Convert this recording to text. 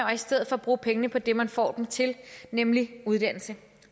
og i stedet bruge pengene på det man får dem til nemlig uddannelse